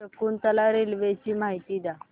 Shakuntala railway ची माहिती द्या